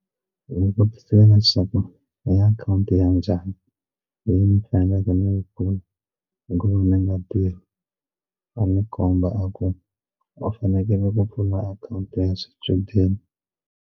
Hi n'wi vutisile leswaku i akhawunti ya njhani leyi ni faneleke ni yi pfula hi ku ni nga tirhi a ni komba a ku u ni fanekele ku pfula akhawunti ya swichudeni.